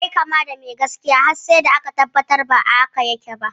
Yayi kama da mai gaskiya, har sai da aka tabbatar ba haka yake ba.